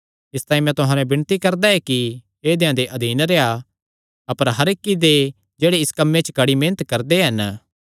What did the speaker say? इसतांई मैं तुहां नैं विणती करदा ऐ कि ऐदेयां दे अधीन रेह्आ अपर हर इक्की दे जेह्ड़े इस कम्मे च कड़ी मेहनत करदे हन